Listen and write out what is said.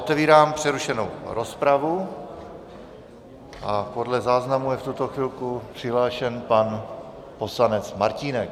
Otevírám přerušenou rozpravu a podle záznamu je v tuto chvilku přihlášen pan poslanec Martínek.